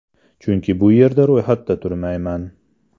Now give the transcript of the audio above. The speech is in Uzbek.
Chunki bu yerda ro‘yxatda turmayman.